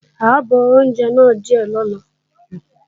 À ó bọ oúnjẹ náà díè lọ́la